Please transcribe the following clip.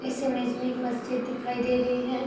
इस ईमेज में एक मस्जिद दिखाईं दे रही है।